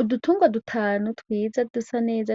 Udutungwa dutanu twiza dusaneza